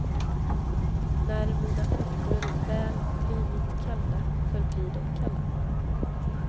När mina fötter väl blivit kalla förblir de kalla.